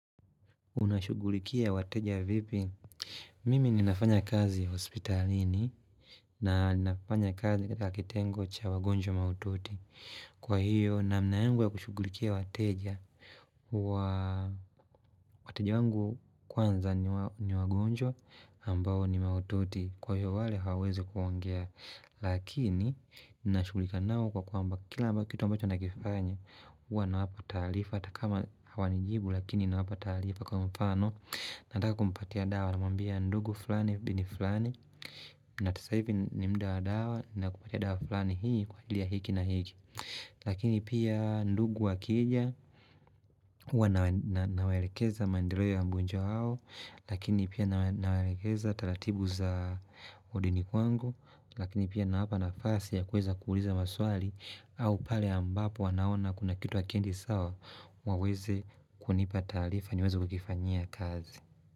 Unashugulikia wateja vipi? Mimi ninafanya kazi hospitalini na ninafanya kazi kata kitengo cha wagonjwa maututi. Kwa hiyo, na mnaengwa kushugulikia wateja. Wateja wangu kwanza ni wagonjwa ambao ni maututi. Kwa hiyo wale hawaezi kuongea. Lakini, nina shugulika nao kwa kwa mba kila mba kitu ambacho nakifanya. Huwa na wapa talifa Atakama hawa nijibu lakini na wapa talifa Kwa mfano Nataka kumpatia dawa Namambia ndugu fulani bini fulani Natasa hivi ni mda dawa Nakupatia dawa fulani hii kwa ilia hiki na hiki Lakini pia ndugu wakija hua na waerekeza mandireo ya mbunjo hao Lakini pia na warekeza Talatibu za odini kwangu Lakini pia na wapa na fasi ya kweza kuuliza maswali au pale ambapo wanaona kuna kitu wakiendi sawa waweze kunipa taarifa niweze kukifanya kazi.